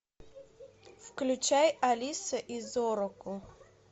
включай алиса и зороку